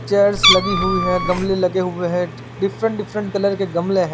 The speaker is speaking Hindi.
चेयर्स लगी हुई है गमले लगे हुए है डीफ्रंट डीफ्रंट कलर के गमले हैं।